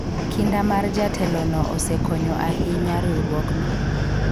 kinda mar jatelo no osekonyo ahinya riwruogno